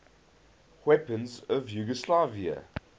weapons of yugoslavia